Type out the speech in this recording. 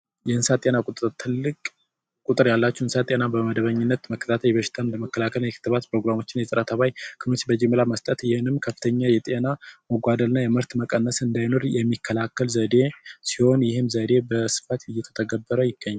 የእንስሳት ጤና ቁጥጥር የእንስሳት ጤና ቁጥጥር ትልቅ ቁጥር ያላቸውን እንስሳቶች ጤና መቆጣጠር ፕሮግራሞችን የጨረታ ተባይ ይህም ከፍተኛ የጥራት መቀነስና የጤና መጎደል እንዳይኖር የሚከላከል ዘዴ ሲሆን ይህም ዘዴ በስፋት እየተተገበረ ይገኛል።